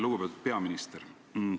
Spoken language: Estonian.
Lugupeetud peaminister!